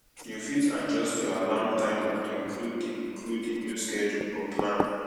you fit adjuyst your alarm timer to include the include the new schedule or plan